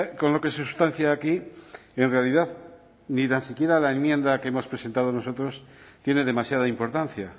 con lo que se sustancia aquí en realidad ni tan siquiera la enmienda que hemos presentado nosotros tiene demasiada importancia